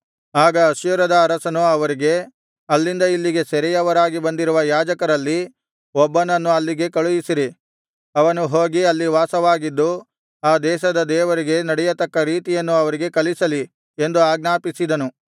ಆಗ ಅಶ್ಶೂರದ ಅರಸನು ಅವರಿಗೆ ಅಲ್ಲಿಂದ ಇಲ್ಲಿಗೆ ಸೆರೆಯವರಾಗಿ ಬಂದಿರುವ ಯಾಜಕರಲ್ಲಿ ಒಬ್ಬನನ್ನು ಅಲ್ಲಿಗೆ ಕಳುಹಿಸಿರಿ ಅವನು ಹೋಗಿ ಅಲ್ಲಿ ವಾಸವಾಗಿದ್ದು ಆ ದೇಶದ ದೇವರಿಗೆ ನಡೆಯತಕ್ಕ ರೀತಿಯನ್ನು ಅವರಿಗೆ ಕಲಿಸಲಿ ಎಂದು ಆಜ್ಞಾಪಿಸಿದನು